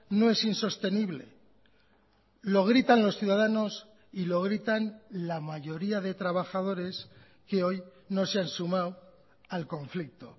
no es insostenible lo gritan los ciudadanos y lo gritan la mayoría de trabajadores que hoy no se han sumado al conflicto